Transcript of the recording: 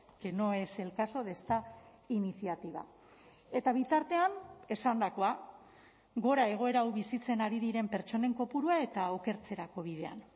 que no es el caso de esta iniciativa eta bitartean esandakoa gora egoera hau bizitzen ari diren pertsonen kopurua eta okertzerako bidean